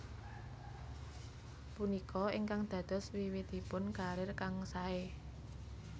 Punika ingkang dados wiwitipun karir kang sae